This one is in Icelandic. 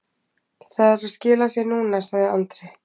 Það er að skila sér núna, sagði Andri.